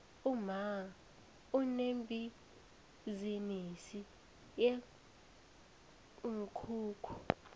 umma unebhizinisi yeenkukhu